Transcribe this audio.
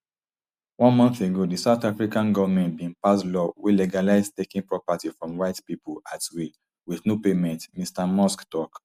one month ago di south african goment bin pass law wey legalise taking property from white pipo at will wit no payment mr musk tok